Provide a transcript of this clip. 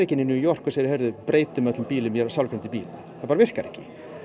New York og segir breytum öllum bílum í sjálfkeyrandi bíla það bara virkar ekki